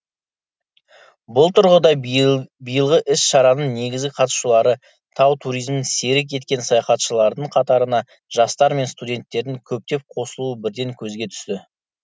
бұл тұрғыда биылғы іс шараның негізгі қатысушылары тау туризмін серік еткен саяхатшылардың қатарына жастар мен студенттердің көптеп қосылуы бірден көзге түсті